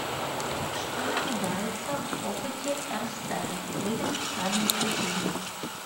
что наблюдается в опыте эрстеда выберите правильное утверждение